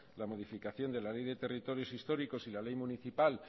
la modificación de la ley de territorios históricos y la ley municipal